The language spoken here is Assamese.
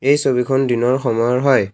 এই ছবিখন দিনৰ সময়ৰ হয়।